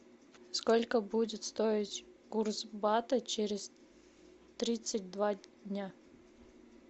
сколько будет стоить курс бата через тридцать два дня